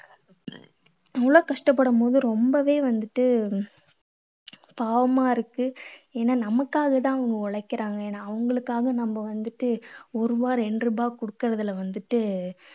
அவ்வளவு கஷ்டப்படும் போது ரொம்பவே வந்துட்டு பாவமா இருக்கு. ஏன்னா நமக்காக தான் அவங்க உழைக்கறாங்க. ஏன்னா அவங்களுக்காக நம்ம வந்துட்டு ஒரு ரூபா ரெண்டு ரூபா கொடுக்கறதுல வந்துட்டு